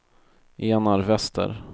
Enar Wester